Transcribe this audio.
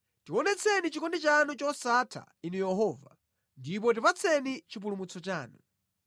Tionetseni chikondi chanu chosatha, Inu Yehova, ndipo tipatseni chipulumutso chanu.